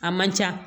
A man ca